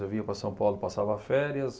Eu vinha para São Paulo, passava férias.